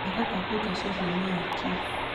thaaka kapuka ceceni-inĩ ya kiss